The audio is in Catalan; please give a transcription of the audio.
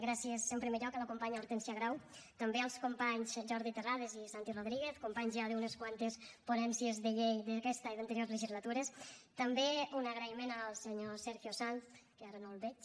gràcies en primer lloc a la companya hortènsia grau també als companys jordi terrades i santi rodríguez companys ja d’unes quantes ponències de llei d’aquesta i d’anteriors legislatures també un agraïment al senyor sergio sanz que ara no el veig